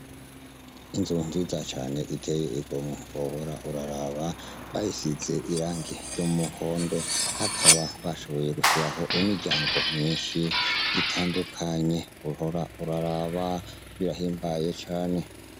Inzu nziza cane iteye igomwe wohora uraraba bayisize irangi ry’umuhondo bakaba bashoboye gushiraho imiryango myinshi itandukanye wohora uraraba birahimbaye cane.